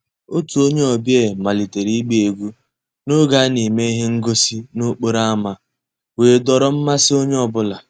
Ótú ónyé ọ̀bíá màlítérè ìgbá égwú n'ògé á ná-èmè íhé ngósì n'òkpòró ámá wéé dòọ́rọ́ mmàsí ónyé ọ́ bụ́là..